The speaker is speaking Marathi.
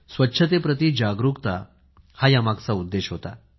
स्वच्छतेप्रती जागरूकता हा यामागचा उद्देश होता